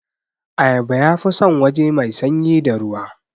Ayaba yafi san waje mai sanyi da ruwa